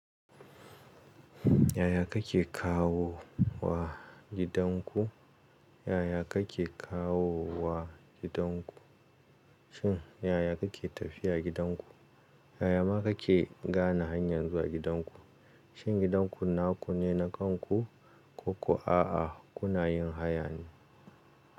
Yaya kake kawo wa gidan ku? Yaya kake kawo wa gidan ku? Shin yaya kake tafiya gidan ku? Yaya ma kake gane hanyar zuwa gidan ku? Shin gidan ku naku ne na kanku ko ko a'a kuna yin haya ne?